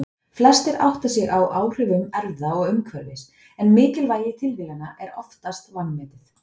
Flestir átta sig á áhrifum erfða og umhverfis en mikilvægi tilviljana er oftast vanmetið.